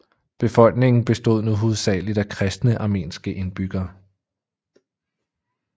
Befolkningen bestod nu hovedsageligt af kristne armenske indbyggere